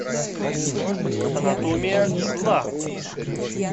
анатомия зла